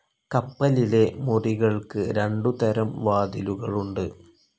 കപ്പലിലെ മുറികൾക്ക് രണ്ടു തരം വാതിലുകളുണ്ട്.